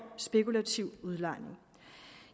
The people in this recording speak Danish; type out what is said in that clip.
spekulativ udlejning